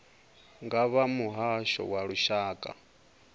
nga vha muhasho wa lushaka